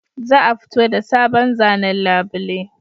Za a fito da sabon zanen labule